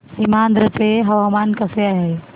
सीमांध्र चे हवामान कसे आहे